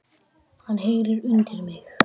Hann heyrir undir mig.